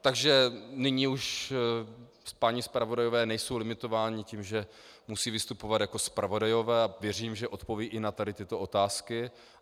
Takže nyní už páni zpravodajové nejsou limitováni tím, že musí vystupovat jako zpravodajové, a věřím, že odpovědí i na tady tyto otázky.